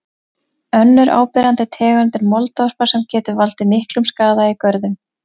Önnur áberandi tegund er moldvarpa sem getur valdið miklum skaða í görðum.